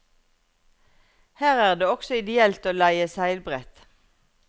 Her er det også ideelt å leie seilbrett.